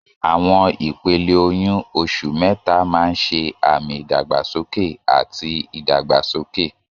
Àwọn ìpele oyún: oṣù mẹ́ta máa ń ṣe àmì ìdàgbàsókè àti ìdàgbàsókè.